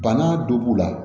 Bana dɔ b'u la